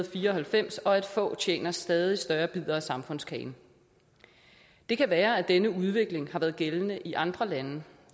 fire og halvfems og at få tjener stadig større bidder af samfundskagen det kan være at denne udvikling har været gældende i andre lande